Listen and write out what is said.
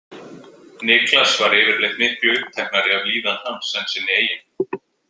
Niklas var yfirleitt miklu uppteknari af líðan hans en sinni eigin.